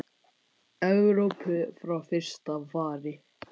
Evrópu frá fyrsta fari.